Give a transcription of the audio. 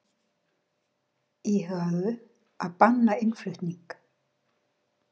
Íhuguðu að banna innflutning